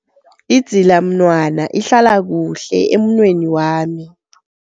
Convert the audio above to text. Idzilamnwana ihlala kuhle emunweni wami.